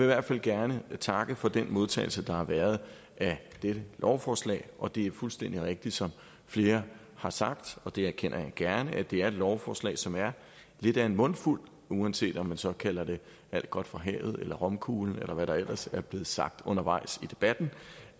hvert fald gerne takke for den modtagelse der har været af dette lovforslag og det er fuldstændig rigtigt som flere har sagt og det erkender jeg gerne at det er et lovforslag som er lidt af en mundfuld uanset om man så kalder det alt godt fra havet eller romkuglen eller hvad der ellers er blevet sagt undervejs i debatten